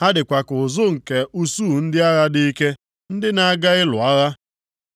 Ha dịkwa ka ụzụ nke usuu ndị agha dị ike, ndị na-aga ịlụ agha.